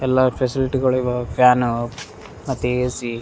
ಎಲ್ಲಾ ಫೆಸಿಲಿಟಿಗಳಿವ ಫ್ಯಾನ್ ಮತ್ತೆ ಎ.ಸಿ --